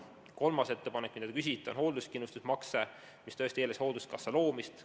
Kolmas ettepanek, mille kohta te küsisite, on hoolduskindlustuse makse, mis eeldaks hoolduskassa loomist.